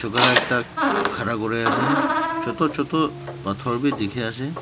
ekta khara kure ase chotu chotu pathor be dikhi ase.